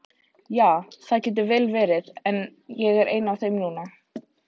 Ja, það getur vel verið, en ég er ein af þeim núna.